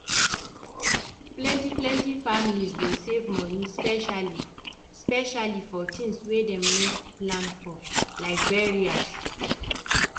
plenty-plenty families dey save money specially-specially for tins wey dem no plan for like burial.